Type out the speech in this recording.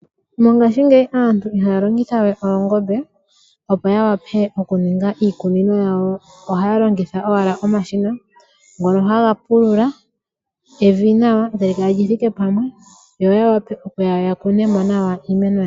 Mongashingeyi aantu ihaya longitha we oongombe opo ya vule okuninga iikunino yawo. Ohaya longitha owala omashina ngono haga pulula evi nawa etali kala lithike pamwe yo ya vule okuya ya kune mo iimeno yawo.